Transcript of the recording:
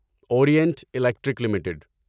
orient Electric limited